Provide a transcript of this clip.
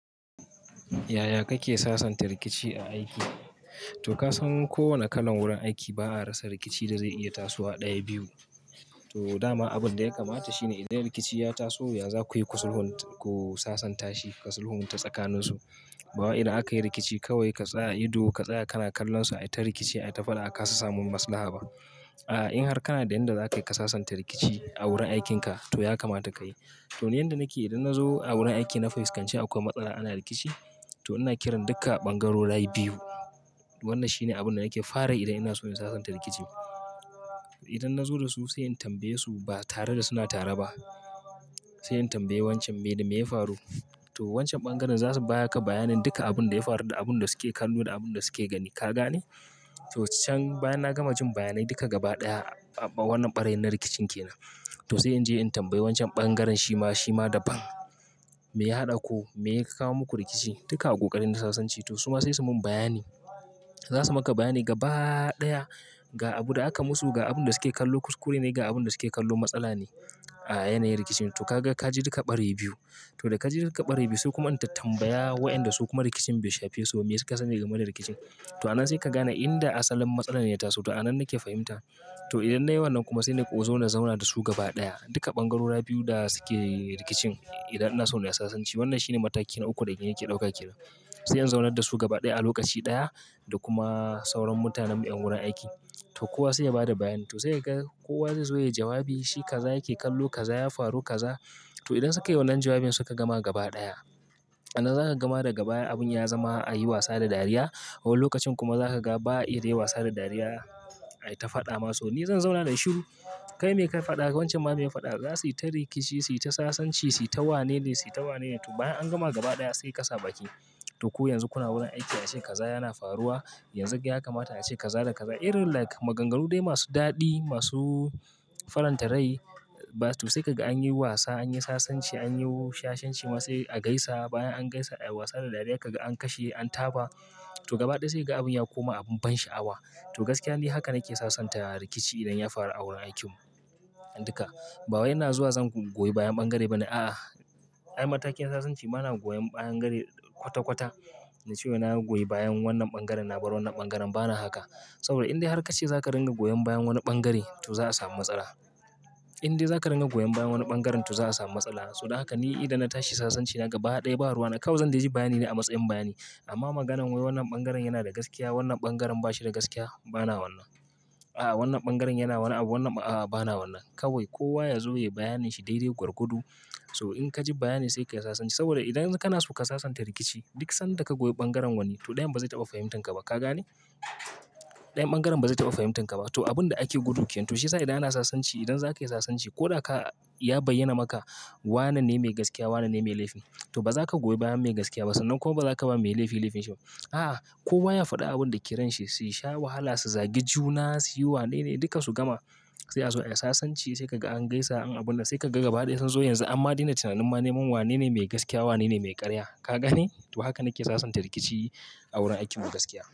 Ya ya kake sasanta rikici a aiki? To kasan kowane kalan wurin aiki ba a rasa rikici da zai iya tasowa ɗaya biyu. To dama abin da ya kamata shine idan rikici ya taso, yanzu kuyi kusulhunta ku sasanta shi, kasulhunta tsakaninsu. Ba wa idan aka yi rikici kawai ka tsaya ido ka tsaya kana kallon su, ai ta rikici ai ta faɗa aka sassamu maslaha ba. A'a in har kana da inda za ka yi ka sasanta rikici a wurin aikin ka to ya kamata ka yi. To ni inda nake idan na zo a wurin aiki na fuskance akwai matsala, ana rikici to ina kiran duka ɓangarorai biyu. Wannan shine abin da nake fara yi dan ina so in sasanta rikici. Idan na zo da su sai in tambaye su ba tare da suna tare ba. Sai in tambaye wancan me ne ya faru? To wancan ɓangaren za su baya ka bayanin duka abin da ya faru da abun da suke kallo da abun da suke gani. Ka gane? To can bayan na gama jin bayanai duka gaba ɗaya, aɓa wannan ɓarayin na rikicin ke nan. To sai in je in tambayi wancan ɓangaren shi ma, shi ma daban. Me ya haɗa ku? Me ya kawo muku rikici? Duka abokanan da sasanci to su ma sai su mun bayani. Za su maka bayani gaba ɗaya ga abin da aka musu, ga abun da suke kallo kuskure ne, ga abun da suke kallo matsala ne a yanayi rikicin. To ka ga ka ji duka ɓarayin biyu. To da ka ji duka ɓarayin biyu su kuma an tambaya wa'inda su kuma rikicin bai shafe su ba, me su ka sani game da rikicin. To a nan sai ka gane inda asalin matsala ne ya taso. To a nan nake fahimta. To idan na yi wannan kuma, sai na ƙo zo na zauna da su gaba ɗaya. Duka ɓangarora biyu da suke rikicin, idan ina so in sasanci. Wannan shine mataki na uku da ni nake ɗauka ke nan. Sai in zauna da su gaba ɗaya a lokaci ɗaya, da kuma sauran mutanan mu ƴan wurin aiki. To kowa sai ya ba da bayani. To sai ka ga kowa zai zo ya yi jawabi, shi kaza yake kallo kaza ya faru kaza. To idan suka yi wannan jawabin suka gama gaba ɗaya. A nan za ka gama daga baya abin ya zama a yi wasa da dariya. Wani lokacin kuma za ka ga ba a iya yi wasa da dariya, ai ta faɗa ma, so ni zan zauna nayi shiru, kai mai kai faɗa wancan ma mai faɗa za su yi ta rikici, su yi ta sasanci, su yi ta wane ne, su yi ta wane ne. To bayan an gama gaba ɗaya sai ka sa b ki. To ku yanzu kuna wurin aiki a ce kaza yana faruwa, yanzu ya kamata a ce kaza da kaza. Irin like maganganu dai masu daɗi masu faranta rai ba. To sai ka ga an yi wasa an yi sasanci an yi shashanci ma sai a gaisa bayan an gaisa a yi wasa da dariya ka ga an kashe an taba. To gaba ɗaya sai ga abin ya koma abin ban sha'awa. To gaskiya ne haka nake sasanta rikici idan ya faru a wurin aikin mu. An duka. Ba wai ina zuwa zan goyi bayan ɓangare bane. A'a. Har matakin sasanci bana goyon ɓayan gari kwata-kwata, na ce wai na goyi bayan wannan ɓangaren na bar wannan ɓangaren bana haka. Saboda idan har ka ce za ka ringa goyon bayan wani ɓangare, to za a samu matsala. Idan za ka ringa goyon bayan wani ɓangaren to za a samu matsala. To haka ni idan na tashi sasanci naga baya ɗaya ba ruwa na kawai zan ji bayani ne a matsayin bayani. Amma maganan wai wannan ɓangaren yana da gaskiya wannan ɓangaren ba shi da gaskiya, bana wannan. A'a wannan ɓangaren yana wannan abu, wannan a'a bana wannan. Kawai kowa ya zo ya yi bayanin shi daidai gwargwado. To in ka ji bayanin sai ka yi sasanci saboda idan kana so ka sasanta rikici duk sanda ka goyi ɓangaren wani to ɗayan ba zai taɓa fahimtan ka ba. Ka gane? Ɗayan ɓangaren ba zai taɓa fahimtan ka ba. To abun da ake gudu kenam to shiyasa idan ana sasanci idan za ka yi sasanci ko da ka ya bayyana maka wane ne mai gaskiya wane ne mai laifi. To ba za ka goyi bayan mai gaskiya ba sannan kuwa ba za ka ba mai laifi laifin shi ba. A, a kowa ha faɗi abunda ke ran shi, shi sha wahala su zagi juna, su ui wane ne duka su gama, sai azo ai sasanci, saj kaga an gaisa an abun nan, sai ka ga gaba daƴa sunzo an ma daina tunanin yanzun wane mai gaskiya wane mai karya. Ka gane? To haka nake sasanta rikici a wurin aikin mu gaskiya.